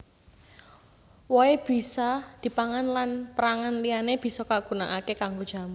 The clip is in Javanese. Wohé bisa dipangan lan pérangan liyané bisa kagunakaké kanggo jamu